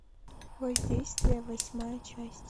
воздействие восьмая часть